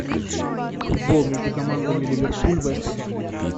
футбол между командами ливерпуль вест хэм